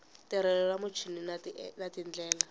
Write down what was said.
tirhelo ra muchini na tindlela